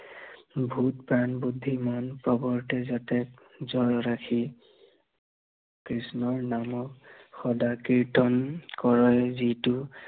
ভোগ প্ৰাণ বুদ্ধিমান, প্ৰৱৰ্তে যাতে যৰ ৰাখি, কৃষ্ণৰ নামত, সদা কীৰ্তন কৰয় যিতু